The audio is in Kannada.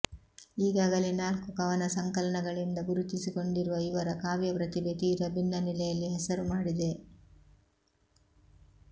ಈಗಾಗಲೇ ನಾಲ್ಕು ಕವನ ಸಂಕಲನಗಳಿಂದ ಗುರುತಿಸಿಕೊಂಡಿರುವ ಇವರ ಕಾವ್ಯ ಪ್ರತಿಭೆ ತೀರ ಭಿನ್ನ ನೆಲೆಯಲ್ಲಿ ಹೆಸರು ಮಾಡಿದೆ